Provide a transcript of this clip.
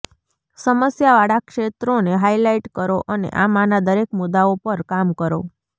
સમસ્યાવાળા ક્ષેત્રોને હાઇલાઇટ કરો અને આમાંના દરેક મુદ્દાઓ પર કામ કરો